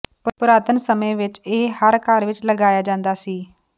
ਪੁਰਾਤਨ ਸਮੇਂ ਵਿੱਚ ਇਹ ਹਰ ਘਰ ਵਿੱਚ ਲਗਾਇਆ ਜਾਂਦਾ ਸੀ